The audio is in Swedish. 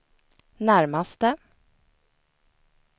närmaste